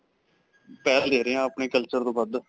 ਪਹਿਲ ਦੇ ਰਹੇ ਹਾਂ ਆਪਣੇ culture ਤੋ ਵੱਧ.